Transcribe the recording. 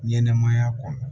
Ɲɛnɛmaya kɔnɔ